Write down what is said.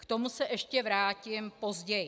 K tomu se ještě vrátím později.